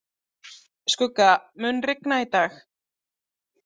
Skugga, mun rigna í dag?